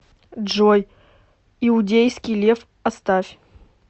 джой иудейский лев оставь